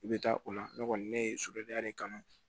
I bɛ taa o la ne kɔni ne ye sodenya de kanu